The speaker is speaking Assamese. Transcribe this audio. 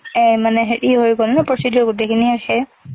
এ মানে হেৰি হৈ গল না procedure খিনি গোটে,